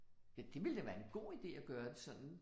Ja, det ville da være en god idé, at gøre det sådan